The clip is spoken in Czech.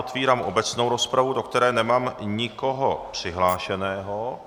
Otevírám obecnou rozpravu, do které nemám nikoho přihlášeného.